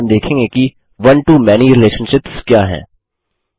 सबसे पहले हम देखेंगे कि one to मैनी रिलेशनशिप्स क्या है